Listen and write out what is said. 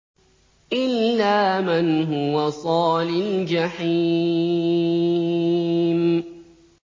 إِلَّا مَنْ هُوَ صَالِ الْجَحِيمِ